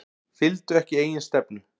Fylgdu ekki eigin stefnu